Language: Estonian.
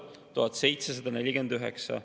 Algab 1500‑st ja Harjumaal kõige kõrgem on 1800.